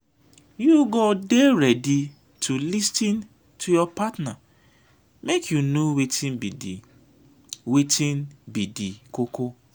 you go dey ready to lis ten to your partner make you know wetin be di wetin be di koko.